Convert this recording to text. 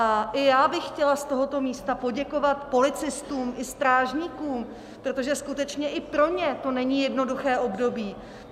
A i já bych chtěla z tohoto místa poděkovat policistům i strážníkům, protože skutečně i pro ně to není jednoduché období.